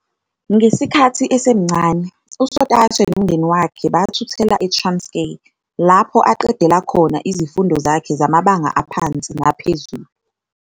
Ngesikhathi esemncane, uSotashe nomndeni wakhe bathuthela eTranskei, lapho aqedela khona izifundo zakhe zamabanga aphansi naphezulu.